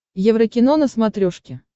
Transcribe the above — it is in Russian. еврокино на смотрешке